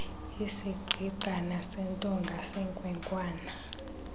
isigqigqana sentonga senkwenkwana